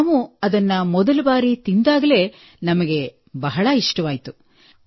ನಾವು ಅದನ್ನು ಮೊದಲ ಬಾರಿ ತಿಂದಾಗಲೇ ಅವು ನಮಗೆ ಬಹಳ ಇಷ್ಟವಾಯಿತು